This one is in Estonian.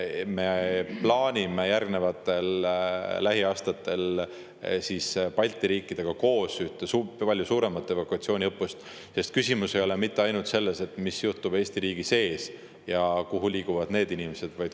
Me plaanime lähiaastatel Balti riikidega koos ühte palju suuremat evakuatsiooniõppust, sest küsimus ei ole mitte ainult selles, mis juhtub Eesti riigi sees ja kuhu liiguvad need inimesed.